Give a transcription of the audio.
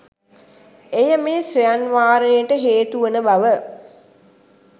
එය මේ ස්වයං වාරණයට හේතු වන බව